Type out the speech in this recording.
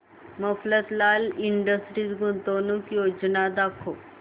Mafatlal Industries गुंतवणूक योजना दाखव